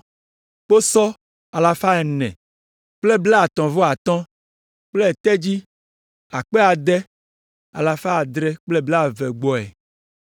kposɔ alafa ene kple blaetɔ̃ vɔ atɔ̃ (435) kple tedzi akpe ade alafa adre kple blaeve (6,720) gbɔe.